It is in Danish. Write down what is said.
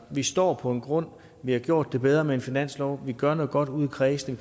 vi står på en grund vi har gjort det bedre med en finanslov vi gør noget godt ude i kredsene